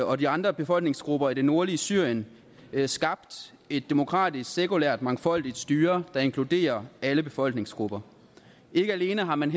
og de andre befolkningsgrupper i det nordlige syrien skabt et demokratisk sekulært mangfoldigt styre der inkluderer alle befolkningsgrupper ikke alene har man